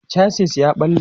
chasis ya ɓalle